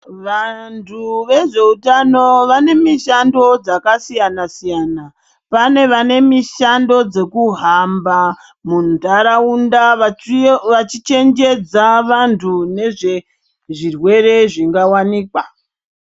Vantu vezveutano vane mishando dzakasiyana-siyana. Pane vane mishando dzokuhamba muntaraunda vachichenjedza vantu nezvezvirwere zvingawanikwa.